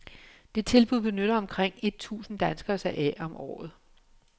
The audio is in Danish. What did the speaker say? Det tilbud benytter omkring et tusind danskere sig af om året.